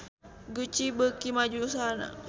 Gucci beuki maju usahana